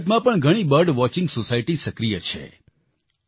ભારતમાં પણ ઘણી બર્ડ વોચિંગ સોસાયટી સક્રિય છે